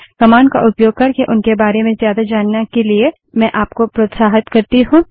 man command का उपयोग करके उनके बारे में ज्यादा जानने के लिए मैं आपको प्रोत्साहित करती हूँ